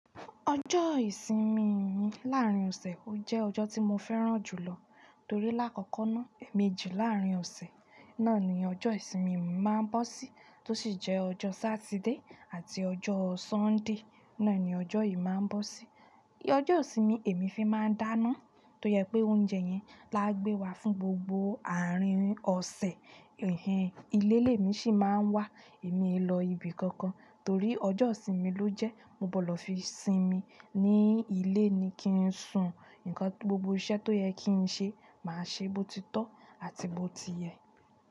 Ọjọ́ ìsinmi mi láàrín ọ̀sẹ̀ ó jẹ́ ọjọ́ tí mo fẹ́ràn jùlọ torí lákọkọ náà, èmejì láàrín ọ̀sẹ̀ náà ni ọjọ́ ìsinmi mi máa ń bọ́ sí tó sì jẹ́ ọjọ́ Saturday àti ọjọ́ Sunday náà ni ọjọ́ yìí máa ń bọ́ sí. Ọjọ́ ìsinmi èmi fi máa ń dáná tó jẹ pé oúnjẹ yẹn la gbé wá fún gbogbo àárín ọ̀sẹ̀, ilé lé mi sì máa ń wà. Èmi e lọ ibi kankan torí ọjọ́ ìsinmi ló jẹ́, mo gbọdọ̀ fi sinmi. Ni ilé ni ki n sùn, gbogbo iṣẹ́ tó yẹ kii ṣe máa ṣe bó ti tọ àti bo ti yẹ.